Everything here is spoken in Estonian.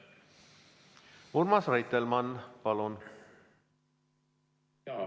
Urmas Reitelmann, palun!